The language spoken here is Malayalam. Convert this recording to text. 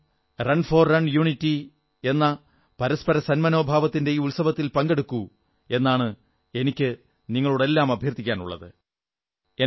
നിങ്ങളും റൺ ഫോർ യൂണിറ്റി എന്ന പരസ്പരസന്മനോഭാവത്തിന്റെ ഈ ഉത്സവത്തിൽ പങ്കെടുക്കൂ എന്നാണ് എനിക്കു നിങ്ങളോടെല്ലാം അഭ്യർഥിക്കാനുള്ളത്